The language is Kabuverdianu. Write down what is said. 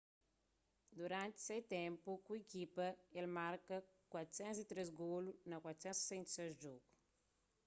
duranti se ténpu ku ikipa el marka 403 golu na 468 djogu